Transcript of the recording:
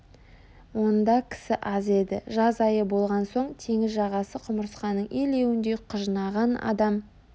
онда кісі аз еді жаз айы болған соң теңіз жағасы құмырсқаның илеуіндей құжынаған адам